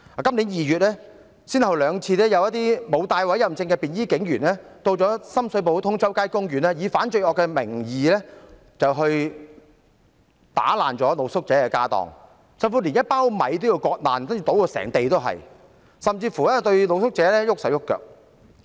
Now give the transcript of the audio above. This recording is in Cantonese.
今年2月，沒有佩戴委任證的便衣警員先後兩次到深水埗通州街公園，以反罪惡的名義，打爛露宿者的家當，甚至連一包米也要割破，倒至滿地都是米，更甚的是對露宿者動粗。